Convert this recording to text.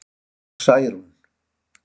Særún